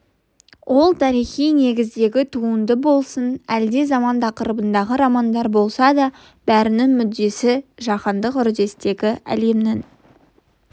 ол тарихи негіздегі туынды болсын әлде заман тақырыбындағы романдар болса да бәрінің мүддесі жаһандық үрдістегі әлемнің